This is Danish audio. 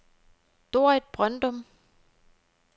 Dorrit Brøndum